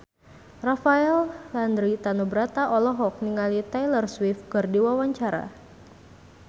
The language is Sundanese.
Rafael Landry Tanubrata olohok ningali Taylor Swift keur diwawancara